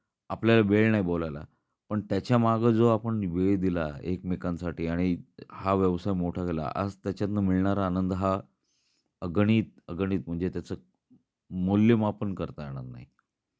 आपल्या वेळ नाही बोलायला. पण त्याच्या माग जो आपण वेळ दिला एकमेकांसाठी आणि हा व्यवसाय मोठा झाला. आज त्याच्यात मिळणारा आनंद हा अगणित अगणित म्हणजे त्याच मूल्यमापन करता येणार नाही.